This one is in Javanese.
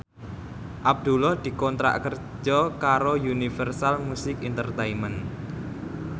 Abdullah dikontrak kerja karo Universal Music Entertainment